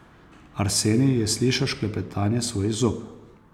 Arsenij je slišal šklepetanje svojih zob.